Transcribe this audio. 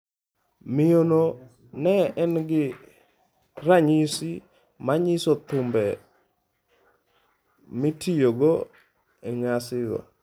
Miyo no ne en gi ranyisi manyiso thumbe mitiyogo e nyasigo.